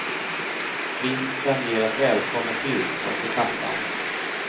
Vinsten ger ett välkommet tillskott i kassan.